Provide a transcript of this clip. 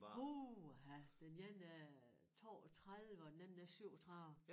Puha den ene er 32 og den anden er 37